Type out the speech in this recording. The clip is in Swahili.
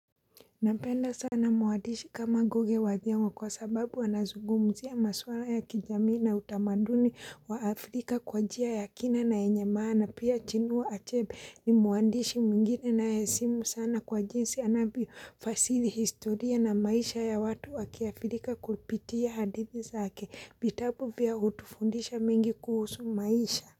Napenda sana mwandishi kama ngugi wa thiong'o kwa sababu anazugumzia maswala ya kijamii na utamaduni wa Afrika kwa njia ya kina na yenyemaana pia chinua achebe ni mwadishi mingine na yesimu sana kwa jinsi anabi fasili historia na maisha ya watu wa kiafrika kupitia hadithi zake vitabu vya hutufundisha mingi kuhusu maisha.